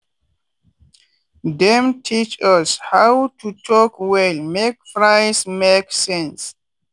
dem teach us how to talk well make price make sense.